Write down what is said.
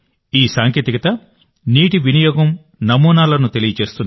ఈ సాంకేతికత నీటి వినియోగం నమూనాలను తెలియజేస్తుంది